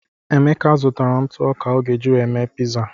Emeka zụtara ntụ ọka o ga-eji were mee piza.